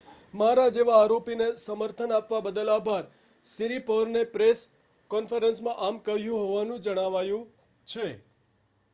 """મારા જેવા આરોપીને સમર્થન આપવા બદલ આભાર," સિરિપોર્ને પ્રેસ કૉન્ફરન્સમાં આમ કહ્યું હોવાનું જણાવાયું છે.